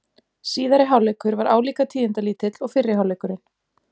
Síðari hálfleikur var álíka tíðindalítill og fyrri hálfleikurinn.